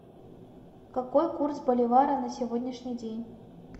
какой курс боливара на сегодняшний день